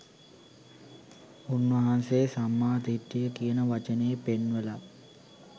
උන්වහන්සේ සම්මා දිට්ඨිය කියන වචනේ පෙන්වලා